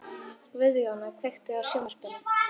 Guðjóna, kveiktu á sjónvarpinu.